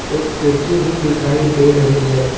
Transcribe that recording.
एक खिड़की भी दिखाई दे रही है।